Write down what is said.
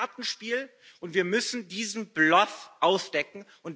es ist ein Kartenspiel, und wir müssen diesen Bluff aufdecken.